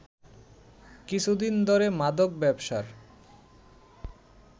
কিছুদিন ধরে মাদক ব্যবসার